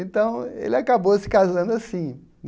Então, ele acabou se casando assim.